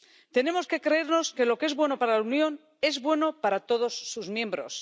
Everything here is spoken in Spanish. Tenemos que creernos que lo que es bueno para la Unión es bueno para todos sus miembros.